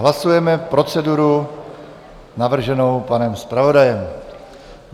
Hlasujeme proceduru navrženou panem zpravodajem.